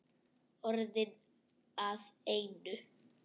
Orðin að einu.